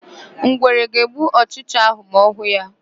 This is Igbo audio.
Ngwere ga-egbu ọchịcha áhụ̀ ma ọ hụ ya.